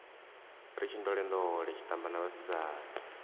ri tshindolendole tshitamba na vhasidzana